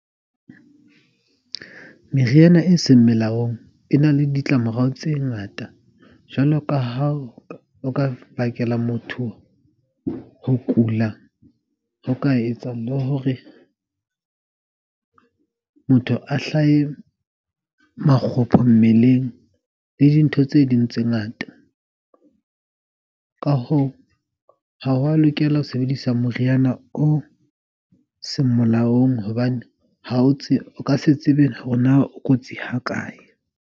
Meriana e seng melaong e na le ditlamorao tse ngata. Jwalo ka ha o ka bakela motho ho kula ho ka etsang hore motho a hlahe makgopho mmeleng, le dintho tse ding tse ngata. Ka hoo, ha wa lokela ho sebedisa moriana o seng molaong. Hobane ha o tsebe o ka se tsebe hore na o kotsi ha kae.